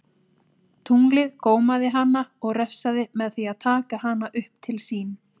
Tunglið gómaði hana og refsaði með því að taka hana upp til sín.